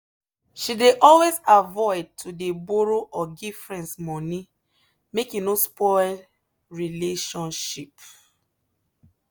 she dey always avoid to dey borrow or give friends money make e no spoil relationship.